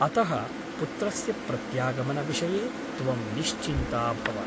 अतः पुत्रस्य प्रत्यागमनविषये त्वं निश्चिन्ता भव ।